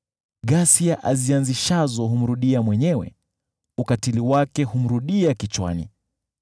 Ghasia azianzishazo humrudia mwenyewe, ukatili wake humrudia kichwani.